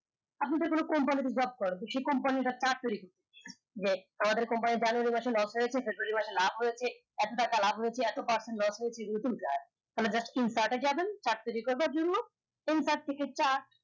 আপনাদের কোন company তে job সে company টা যে আমাদের company January মাসে loss হয়েছে February মাসে লাভ হয়েছে এত টাকা লাভ হয়েছে এত percent loss হয়েছে তার চুরি করার জন্য